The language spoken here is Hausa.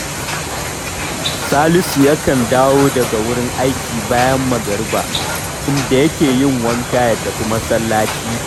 Salisu yakan dawo daga wurin aiki bayan magariba, inda yake yin wanka ya tafi masallaci